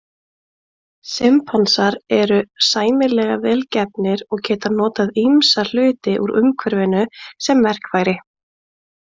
Simpansar eru sæmilega vel gefnir og geta notað ýmsa hluti úr umhverfinu sem verkfæri.